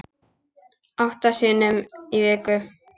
Átta sinnum í viku.